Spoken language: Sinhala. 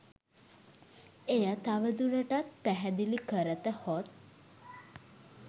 එය තව දුරටත් පැහැදිළි කරත හොත්